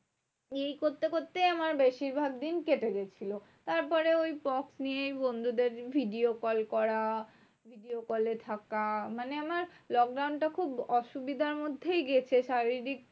এই করতে করতেই আমার বেশিরভাগ দিন কেটে গেছিলো। তারপরে ওই pox নিয়ে বন্ধুদের video কল করা, video কলে থাকা, মানে আমার lockdown টা খুব অসুবিধার মধ্যেই গেছে শারীরিক